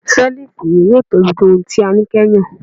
Selifu iwe yoo tobi ju ohun ti a ni kẹhin